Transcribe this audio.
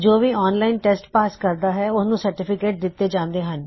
ਜੋ ਵੀ online test pass ਕਰਦਾ ਹੈ ਉਸਨੂੰ ਸਰਟੀਫਿਕੇਟ ਦਿੱਤੇ ਜਾਂਦੇ ਹਨ